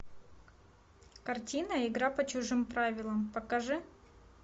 картина игра по чужим правилам покажи